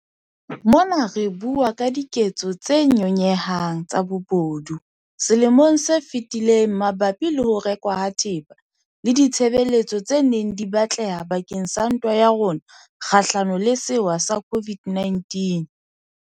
Mona re bua ka diketso tse nyonyehang tsa bobodu selemong se fetileng mabapi le ho rekwa ha thepa le ditshebeletso tse neng di batleha bakeng sa ntwa ya rona kgahlanong le sewa sa COVID-19.